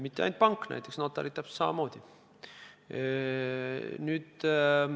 Mitte ainult pank, vaid näiteks notarid samamoodi.